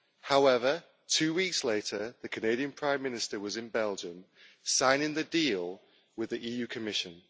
However, two weeks later, the Canadian Prime Minister was in Belgium signing the deal with the Commission.